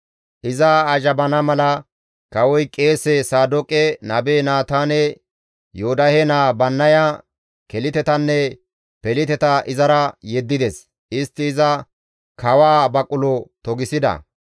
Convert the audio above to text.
Iza azhabana mala kawoy qeese Saadooqe, nabe Naataane, Yoodahe naa Bannaya, Kelitetanne Peliteta izara yeddides; istti iza kawaa baqulo togisida.